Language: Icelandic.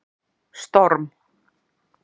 Storm